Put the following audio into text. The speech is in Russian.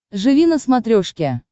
живи на смотрешке